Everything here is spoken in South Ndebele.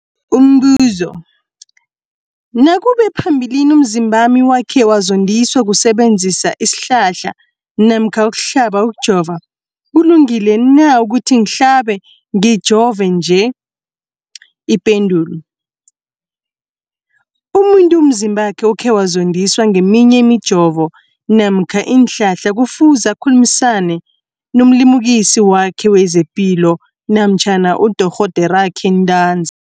Umbuzo, nakube phambilini umzimbami wakhe wazondiswa kusebenzisa isihlahla namkha ukuhlaba, ukujova, kulungile na ukuthi ngihlabe, ngijove nje? Ipendulo, umuntu umzimbakhe okhe wazondiswa ngeminye imijovo namkha iinhlahla kufuze akhulumisane nomlimukisi wakhe wezepilo namkha nodorhoderakhe ntanzi.